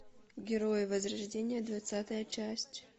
герои возрождения двадцатая часть